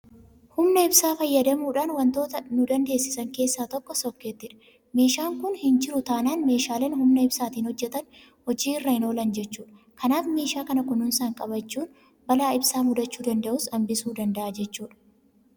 Humna ibsaa fayyadamuudhaaf waantota nudandeessisan keessaa tokko Sookkeettiidha. Meeshaan kun hinjiru taanaan meeshaaleen humna ibsaatiin hojjetan hojii irra hinoolan jechuudha. Kanaaf meeshaa kana kunuunsaan qabachuun balaa ibsaa mudachuu danda'us hanbisuu danda'a jechuudha.